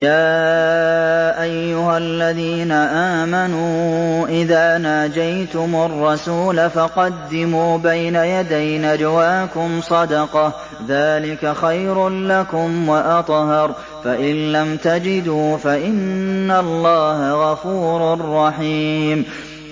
يَا أَيُّهَا الَّذِينَ آمَنُوا إِذَا نَاجَيْتُمُ الرَّسُولَ فَقَدِّمُوا بَيْنَ يَدَيْ نَجْوَاكُمْ صَدَقَةً ۚ ذَٰلِكَ خَيْرٌ لَّكُمْ وَأَطْهَرُ ۚ فَإِن لَّمْ تَجِدُوا فَإِنَّ اللَّهَ غَفُورٌ رَّحِيمٌ